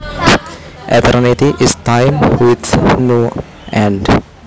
Eternity is time with no end